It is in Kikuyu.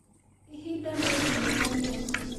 Ĩhĩda nĩĩthĩũ mũno.